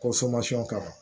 Ko ka kan